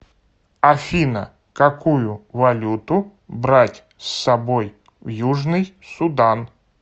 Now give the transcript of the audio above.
афина какую валюту брать с собой в южный судан